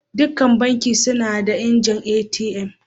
Dukan Banki suna da injin ATM.